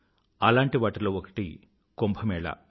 అలాంటి వాటిలో ఒకటి కుంభ మేళా